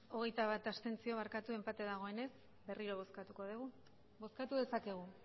hogeita bat abstentzio enpate dagoenez berriro bozkatuko dugu bozkatu dezakegu